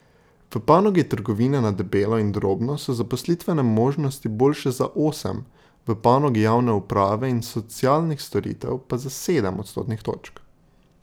V panogi trgovine na debelo in drobno so zaposlitvene možnosti boljše za osem, v panogi javne uprave in socialnih storitev pa za sedem odstotnih točk.